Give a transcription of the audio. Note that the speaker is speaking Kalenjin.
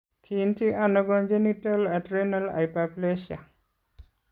Kiinti ano congenital adrenal hyperplasia?